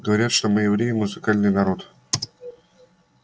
говорят что мы евреи музыкальный народ